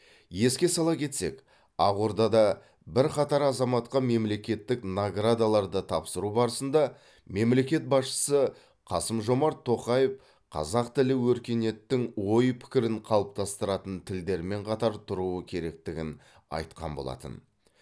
еске сала кетсек ақордада бірқатар азаматқа мемлекеттік наградаларды тапсыру барысында мемлекет басшысы қасым жомарт тоқаев қазақ тілі өркениеттің ой пікірін қалыптастыратын тілдермен қатар тұруы керектігін айтқан болатын